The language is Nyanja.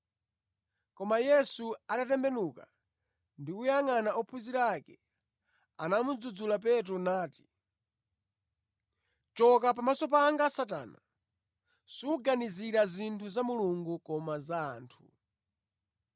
Koma Yesu atatembenuka ndi kuyangʼana ophunzira ake, anamudzudzula Petro nati, “Choka pamaso panga Satana! Suganizira zinthu za Mulungu koma za anthu.”